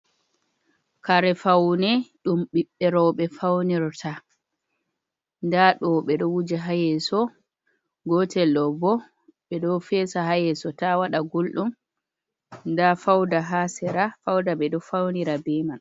Kare faune ɗum biɓɓe roɓe faunirta, nda ɗo ɓe ɗo wuja ha yeeso, gotel ɗo bo ɓe do feesa ha yeso ta wada guldum, nda fauda ha sera, fauda ɓe ɗo faunira be man.